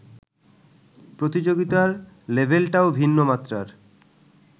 প্রতিযোগিতার লেভেলটাও ভিন্ন মাত্রার